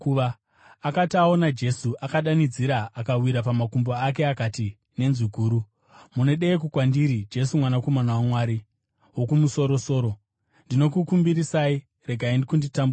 Akati aona Jesu, akadanidzira akawira pamakumbo ake, akati nenzwi guru, “Munodeiko kwandiri, Jesu, Mwanakomana waMwari Wokumusoro-soro? Ndinokukumbirisai, regai kunditambudza!”